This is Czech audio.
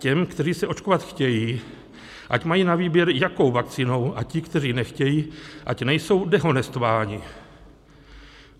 Těm, kteří se očkovat chtějí, ať mají na výběr, jakou vakcínou, a ti, kteří nechtějí, ať nejsou dehonestováni.